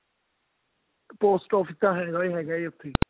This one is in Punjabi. post office ਤਾਂ ਹੈਗਾ ਹੀ ਹੈਗਾ ਹਾ ਉੱਥੇ